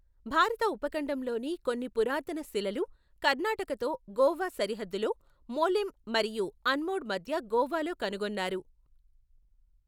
భారత ఉపఖండంలోని కొన్ని పురాతన శిలలు కర్ణాటకతో గోవా సరిహద్దులో మోలెమ్ మరియు అన్మోడ్ మధ్య గోవాలో కనుగొన్నారు.